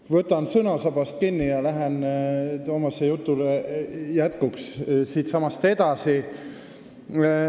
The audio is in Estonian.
Ma võtan sõnasabast kinni ja lähen Toomase jutu jätkuks siitsamast edasi.